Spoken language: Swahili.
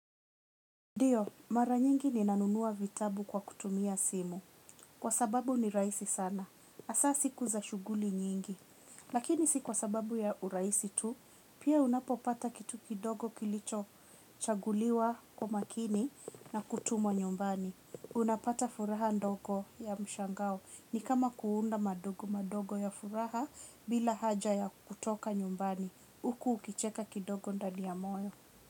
Ndiyo, mara nyingi ninanunua vitabu kwa kutumia simu, kwa sababu ni rahisi sana. Hasa siku za shughuli nyingi. Lakini si kwa sababu ya uraisi tu, pia unapopata kitu kidogo kilicho chaguliwa kwa makini na kutumwa nyumbani. Unapata furaha ndogo ya mshangao. Ni kama kuunda madogo madogo ya furaha bila haja ya kutoka nyumbani. Uku ukicheka kidogo ndani ya moyo.